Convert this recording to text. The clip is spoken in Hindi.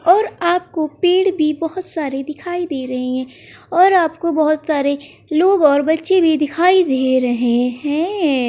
और आपको पेड़ भी बहुत सारे दिखाई दे रहे है और आपको बहुत सारे लोग और बच्चे भी दिखाई दे रहे हैं।